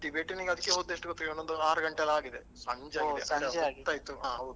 ನಾವ್ಸ Tibetan ಅದಕ್ಕೆ ಹೋಗಿ ಒಂದು ಆರು ಗಂಟೆಯೆಲ್ಲ ಆಗಿದೆ ಸಂಜೆಯಾಗಿದೆ ಹೊತ್ತಾಯ್ತು.